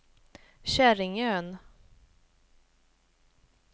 Käringön